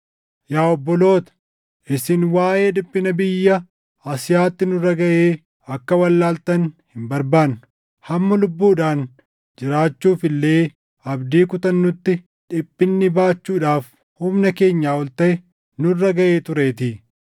Yaa obboloota, isin waaʼee dhiphina biyya Asiyaatti nurra gaʼee akka wallaaltan hin barbaannu. Hamma lubbuudhaan jiraachuuf illee abdii kutannutti dhiphinni baachuudhaaf humna keenyaa ol taʼe nurra gaʼee tureetii.